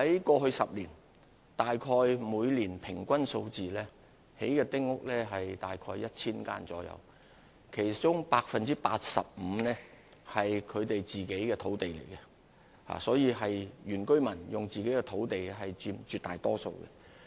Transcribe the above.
過去10年，每年興建的丁屋數目平均大約是 1,000 間，其中 85% 建於他們自己的土地上，絕大多數的原居民均使用自己的土地興建丁屋。